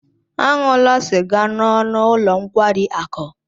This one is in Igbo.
Aṅụla sịga n'ọnụ ụlọ nkwari akụ!